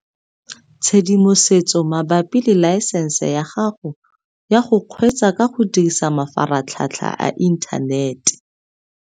Tshedimosetso mabapi le laesense ya gago ya go kgweetsa ka go dirisa mafaratlhatlha a inthanete